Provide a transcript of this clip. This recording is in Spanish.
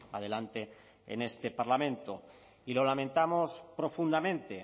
adelante en este parlamento y lo lamentamos profundamente